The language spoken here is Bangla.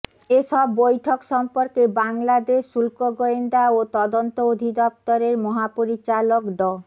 এসব বৈঠক সম্পর্কে বাংলাদেশ শুল্ক গোয়েন্দা ও তদন্ত অধিদপ্তরের মহাপরিচালক ড